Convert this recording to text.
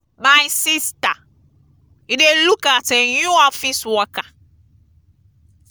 my sister you dey look at a new office worker.